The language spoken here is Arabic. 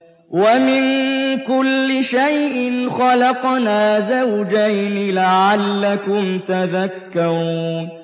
وَمِن كُلِّ شَيْءٍ خَلَقْنَا زَوْجَيْنِ لَعَلَّكُمْ تَذَكَّرُونَ